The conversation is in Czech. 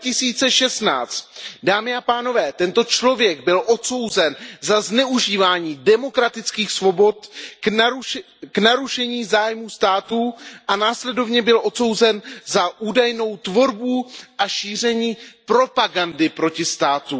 2016. Dámy a pánové, tento člověk byl odsouzen za zneužívání demokratických svobod k narušení zájmů státu a následovně byl odsouzen za údajnou tvorbu a šíření propagandy proti státu.